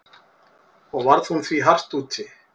Og varð hún því hart úti.